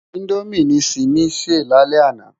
Indómi ni Simi sé lálè àná